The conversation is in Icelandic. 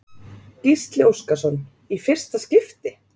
Gísli Óskarsson: Í fyrsta skipti?